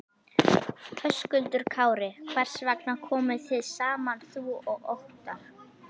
Höskuldur Kári: Hvers vegna komuð þið saman þú og Óttarr?